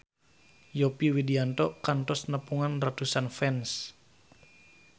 Yovie Widianto kantos nepungan ratusan fans